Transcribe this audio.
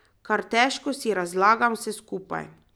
Kar težko si razlagam vse skupaj.